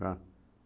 Tá.